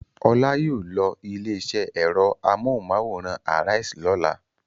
Ọlá yóò lọ ilé-iṣẹ́ ẹ̀rọ amóhùmáwòhán Arise lọ́la.